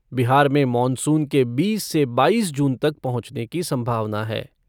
बिहार में मॉनसून के बीस से बाईस जून तक पहुंचने की सम्भावना है।